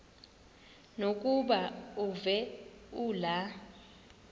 lokuba uve kulaa